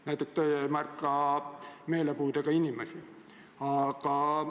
Näiteks teie ei märka meelepuudega inimesi.